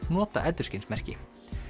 nota endurskinsmerki